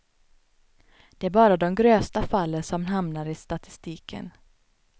Det är bara de grövsta fallen som hamnar i statistiken.